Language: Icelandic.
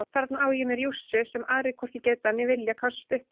Þarna á ég mér jússu sem aðrir hvorki geta né vilja kássast upp á.